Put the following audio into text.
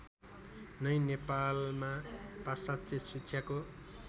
नै नेपालमा पाश्चात्य शिक्षाको